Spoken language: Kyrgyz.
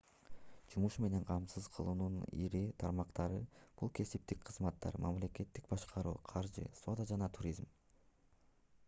жумуш менен камсыз кылуунун ири тармактары бул кесиптик кызматтар мамлекеттик башкаруу каржы соода жана туризм